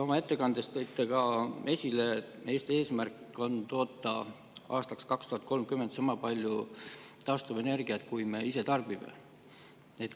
Oma ettekandes tõite esile, et Eesti eesmärk on toota aastaks 2030 sama palju taastuvenergiat, kui me ise tarbime.